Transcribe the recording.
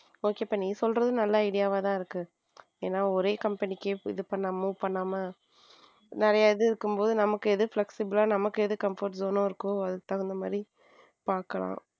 Okay இப்போ நீ சொல்றது நல்ல idea வா தான் இருக்கு ஏன்னா ஒரே company இது பண்ணாம move பண்ணாம நிறையவே இருக்கும்போது நமக்கு எது flexible லா நமக்கு எது comfort zone இருக்கோ அது தகுந்த மாதிரி பார்க்கலாம்.